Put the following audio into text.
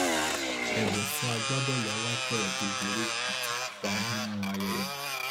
ẹbùn fún agbábọọlù alápèrẹ tó borí àti kópa nínú ayẹyẹ